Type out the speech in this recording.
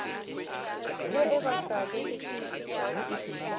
ge e ba se le